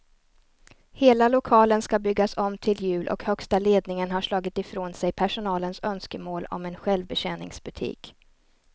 Hela lokalen ska byggas om till jul och högsta ledningen har slagit ifrån sig personalens önskemål om en självbetjäningsbutik.